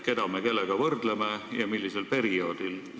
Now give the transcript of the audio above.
Keda me kellega võrdleme ja millisel perioodil?